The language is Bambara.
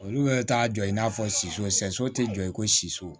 Olu bɛ t'a jɔ i n'a fɔ soso sɛso tɛ jɔ i ko siso